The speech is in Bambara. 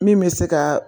Min bɛ se ka